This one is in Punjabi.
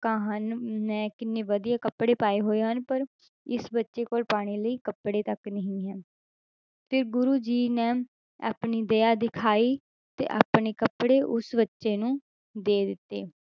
~ਆਂ ਹਨ ਮੈਂ ਕਿੰਨੇ ਵਧੀਆ ਕੱਪੜੇ ਪਾਏ ਹੋਏ ਹਨ ਪਰ ਇਸ ਬੱਚੇ ਕੋਲ ਪਾਉਣੇ ਲਈ ਕੱਪੜੇ ਤੱਕ ਨਹੀਂ ਹਨ, ਤੇ ਗੁਰੂ ਜੀ ਨੇ ਆਪਣੀ ਦਇਆ ਦਿਖਾਈ ਤੇ ਆਪਣੇ ਕੱਪੜੇ ਉਸ ਬੱਚੇ ਨੂੰ ਦੇ ਦਿੱਤੇ।